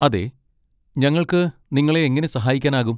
അതെ, ഞങ്ങൾക്ക് നിങ്ങളെ എങ്ങനെ സഹായിക്കാനാകും?